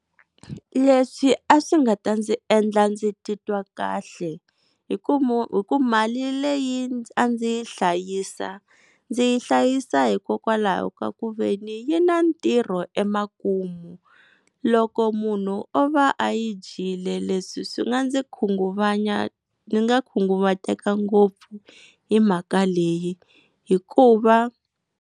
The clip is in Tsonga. Leswi a swi nga ta ndzi endla ndzi titwa kahle hi ku hi ku mali leyi a ndzi yi hlayisa ndzi yi hlayisa hikokwalaho ka ku veni yi na ntirho emakumu, loko munhu o va a yi dyile leswi swi nga ndzi khunguvanya ndzi nga khunguvateka ngopfu hi mhaka leyi hikuva.